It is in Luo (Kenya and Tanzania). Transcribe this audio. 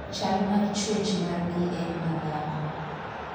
Chal mar chuech mar gi en madhako.